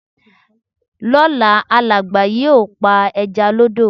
Lóla, Àlẹ́ẹ́gbà yóò pa ẹja lọ́dọ̀.